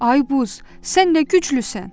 Ay Buz, sən nə güclüsən?